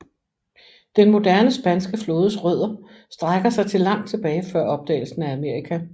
Den moderne spanske flådes rødder strækker sig til langt tilbage før opdagelsen af Amerika